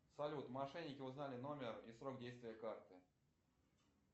салют мошенники узнали номер и срок действия карты